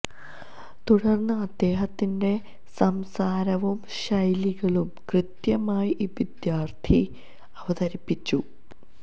തുടര്ന്ന് അദ്ദേഹത്തിന്റെ സംസാരവും ശൈലികളും കൃത്യമായി ഈ വിദ്യാര്ത്ഥി അവതരിപ്പിച്ചു